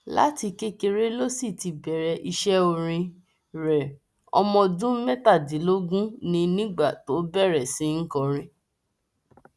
láti kékeré ló sì ti bẹrẹ iṣẹ orin rẹ ọmọ ọdún mẹtàdínlógún ni nígbà tó bẹrẹ sí í kọrin